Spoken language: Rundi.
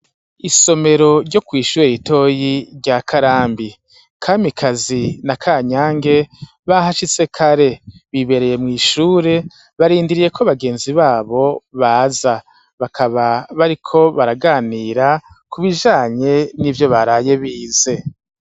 Isomero ryo kw'ishure ritoyi rya Karambi, Kamikazi na Kanyange bahashitse kare bibereye mw'ishure barindiriye ko bagenzi babo baza, bakaba bariko baraganira ku bijanye n'ivyo baraye bize.